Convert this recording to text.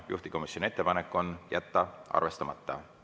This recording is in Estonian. Juhtivkomisjoni ettepanek on jätta arvestamata.